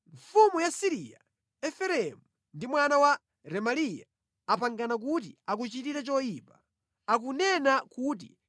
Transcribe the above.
Mfumu ya Siriya, Efereimu ndi mwana wa Remaliya apangana kuti akuchitire choyipa. Akunena kuti,